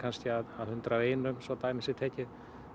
af hundrað og einum svo dæmi sé tekið